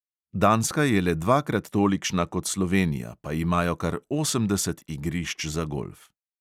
Danska je le dvakrat tolikšna kot slovenija, pa imajo kar osemdeset igrišč za golf.